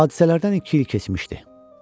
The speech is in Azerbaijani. Hadisələrdən iki il keçmişdi.